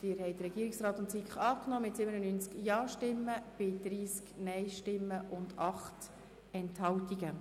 Sie haben den Antrag Regierungsrat und SiK angenommen mit 97 Ja- zu 30 Nein-Stimmen bei 8 Enthaltungen.